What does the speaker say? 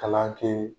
Kalan kɛ